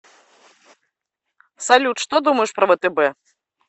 салют что думаешь про втб